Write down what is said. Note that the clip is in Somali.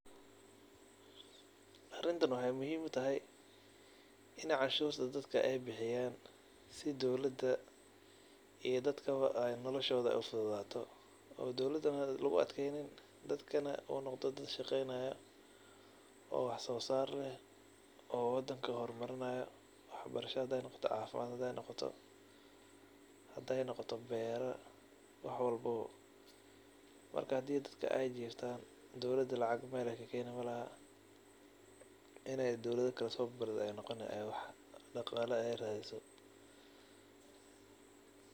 Arintan wexey muhiim utahay inii dadka canshurta bixiyan sii dadka iyo dowlada shaqadoda ufudato oo dowlada luguadkeynin dadkana uu noqdo dad shaqeynaya oo wax sosar leeh oo wadanka hormarinayo waxbarasho hadey noqto waxsaosar hadey noqoto hadey noqoto bero wax walbo marka hadii ey dadka jiftan dowlada meel ey lacag kakeni malaha iney dowlad kale sobarida oo deen soqadato ayey noqoni.